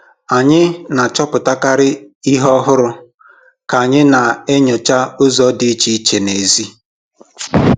Anyị na-achọpụtakarị ihe ọhụrụ ka anyị na-enyocha ụzọ dị iche iche n'èzí.